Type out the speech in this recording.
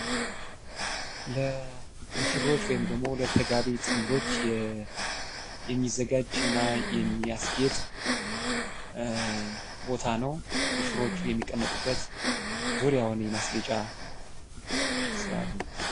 ለሙሽሮች ወይም ደግሞ ለተጋቢ ጥንዶች የሚዘጋጅ እና የሚያስጌጥ ቦታ ነው ሙሽሮቹ የሚያስጌጡበት የማስጌጫ ጥበብ ነው።